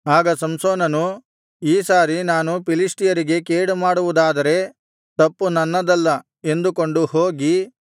ಆಗ ಸಂಸೋನನು ಈ ಸಾರಿ ನಾನು ಫಿಲಿಷ್ಟಿಯರಿಗೆ ಕೇಡುಮಾಡುವುದಾದರೆ ತಪ್ಪು ನನ್ನದಲ್ಲ ಎಂದುಕೊಂಡು ಹೋಗಿ